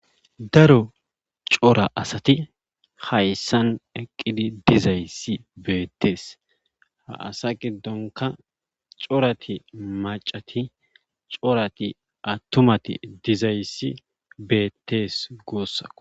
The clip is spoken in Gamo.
Daro cora asati hayssan eqqidi dizayssi beettees ha asa giddonka corati macati corati attumati dizayssi beettees guussakko